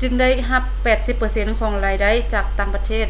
ຈຶ່ງໄດ້ຮັບ 80% ຂອງລາຍໄດ້ຈາກຕ່າງປະເທດ